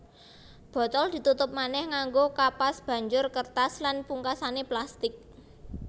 Botol ditutup manéh nganggo kapas banjur kertas lan pungkasané plastik